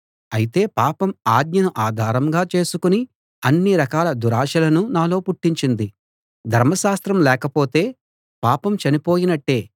అయితే పాపం ఆజ్ఞను ఆధారంగా చేసుకుని అన్ని రకాల దురాశలను నాలో పుట్టించింది ధర్మశాస్త్రం లేకపోతే పాపం చనిపోయినట్టే